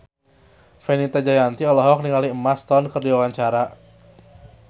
Fenita Jayanti olohok ningali Emma Stone keur diwawancara